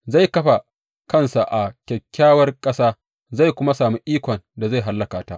Zai kafa kansa a Kyakkyawar Ƙasa zai kuma sami ikon da zai hallaka ta.